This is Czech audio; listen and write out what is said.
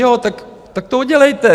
Jo, tak to udělejte.